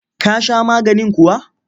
Ka sha maganin kuwa?